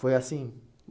Foi assim?